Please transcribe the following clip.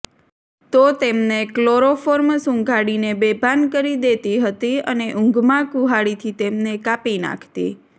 તો તેમને ક્લોરોફોર્મ સુંઘાડીને બેભાન કરી દેતી હતી અને ઊંઘમાં કુહાડીથી તેમને કાપી નાંખતી